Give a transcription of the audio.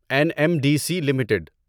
N M D C limited